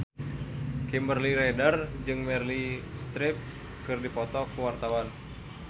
Kimberly Ryder jeung Meryl Streep keur dipoto ku wartawan